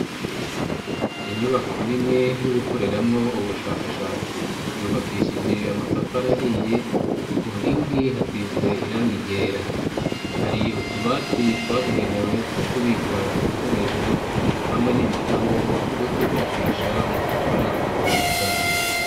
Inyubako nini yo gukoreramwo ubushakashatsi, yubakishije amatafari ahiye ku nkingi hasize irangi ryera, hari utubati twabugenewe two kubika ibikoresho hamwe n'ibitabo vyo kwifashisha mu gukora ubushakashatsi.